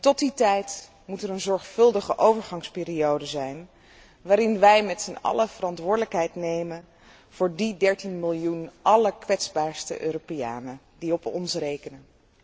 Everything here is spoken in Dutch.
Tot die tijd moet er een zorgvuldige overgangsperiode zijn waarin wij met z'n allen verantwoordelijkheid nemen voor die 13 miljoen allerkwetsbaarste Europeanen die op ons rekenen.